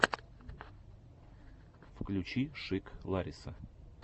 включи шик лариса